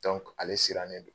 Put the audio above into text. ale sirannen do